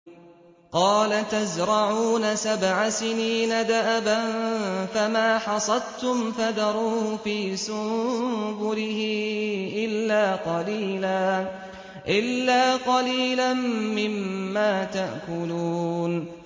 قَالَ تَزْرَعُونَ سَبْعَ سِنِينَ دَأَبًا فَمَا حَصَدتُّمْ فَذَرُوهُ فِي سُنبُلِهِ إِلَّا قَلِيلًا مِّمَّا تَأْكُلُونَ